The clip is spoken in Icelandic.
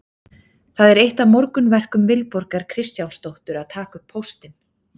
Það er eitt af morgunverkum Vilborgar Kristjánsdóttur að taka upp póstinn.